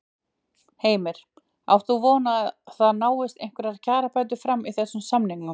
Heimir: Átt þú von á því að það náist einhverjar kjarabætur fram í þessum samningum?